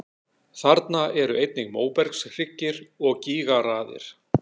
Þarna eru einnig móbergshryggir og gígaraðir.